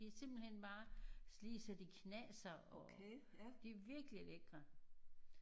De er simpelthen bare lige så de knaser og de er virkelig lækre